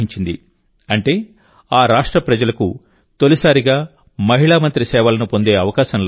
అంటే ఆ రాష్ట్ర ప్రజలకు తొలిసారిగా మహిళా మంత్రి సేవలను పొందే అవకాశం లభించింది